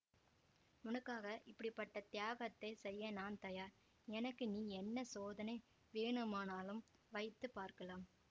உனக்காக எப்படி பட்ட தியாகத்தை செய்ய நான் தயார் எனக்கு நீ என்ன சோதனை வேணுமானாலும் வைத்து பார்க்கலாம்